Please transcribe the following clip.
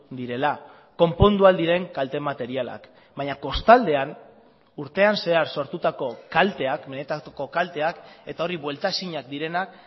direla konpondu ahal diren kalte materialak baina kostaldean urtean zehar sortutako kalteak benetako kalteak eta hori buelta ezinak direnak